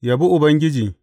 Yabi Ubangiji.